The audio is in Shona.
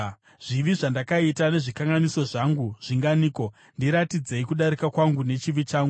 Zvivi zvandakaita nezvikanganiso zvangu zvinganiko? Ndiratidzei kudarika kwangu nechivi changu.